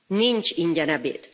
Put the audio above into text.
Nincs ingyen ebéd.